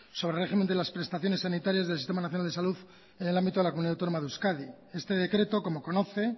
sobre régimen de las prestaciones sanitarias del sistema nacional de salud en el ámbito de la comunidad autónoma de euskadi este decreto como conoce